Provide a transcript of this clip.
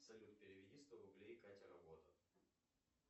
салют переведи сто рублей катя работа